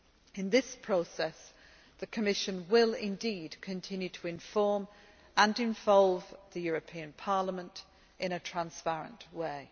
In this process, the Commission will, indeed, continue to inform and involve the European Parliament in a transparent way.